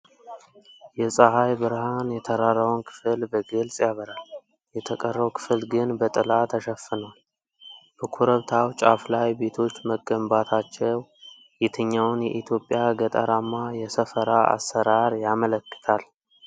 የፀሐይ ብርሃን የተራራውን ክፍል በግልጽ ያበራል፤ የተቀረው ክፍል ግን በጥላ ተሸፍኗል። በኮረብታው ጫፍ ላይ ቤቶች መገንባታቸው የትኛውን የኢትዮጵያ ገጠራማ የሰፈራ አሠራር ያመለክታል?